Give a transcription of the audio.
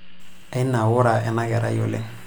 Ainaura ena kerai oleng'.